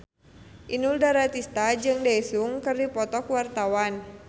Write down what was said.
Inul Daratista jeung Daesung keur dipoto ku wartawan